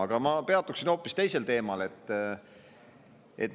Aga ma peatuksin hoopis teisel teemal.